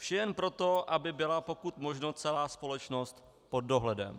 Vše jen proto, aby byla pokud možno celá společnost pod dohledem.